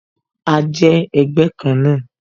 A jẹ́ ẹgbẹ́ kan náà